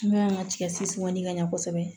N'o y'an ka ka ɲɛ kosɛbɛ